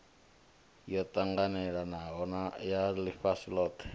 yo ṱanganelanaho ya ḽifhasi ḽothe